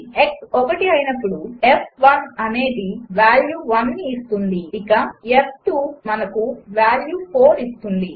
x ఒకటి అయినపుడు f అనేది వాల్యూ 1ని ఇస్తుంది ఇక f మనకు వాల్యూ 4 ఇస్తుంది